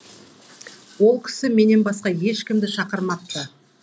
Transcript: ол кісі менен басқа ешкімді шақырмапты